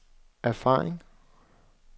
erfaring